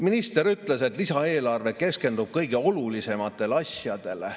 Minister ütles, et lisaeelarve keskendub kõige olulisematele asjadele.